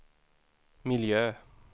miljö